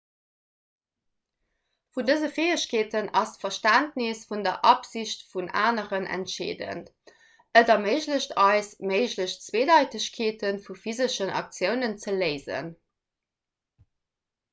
vun dëse fäegkeeten ass d'verständnes vun der absicht vun aneren entscheedend et erméiglecht eis méiglech zweedeitegkeete vu physeschen aktiounen ze léisen